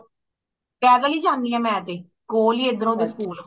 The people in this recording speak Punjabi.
ਪੈਦਲ ਹੀ ਜਾਣਿਆ ਮੈਂ ਤੇ ਕੋਲ ਹੀ ਏਧਰੋਂ ਦੀ school